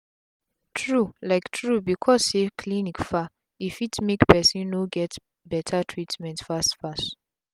tru um tru becos say clinic far e fit make pesin no get beta treatment fast fast